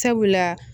Sabula